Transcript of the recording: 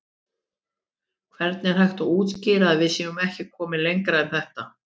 Hvernig er hægt að útskýra að við séum ekki komin lengra en þetta?